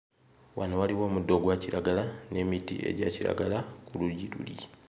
Wano waliwo omuddo ogwa kiragala n'emiti egya kiragala ku luuyi luli.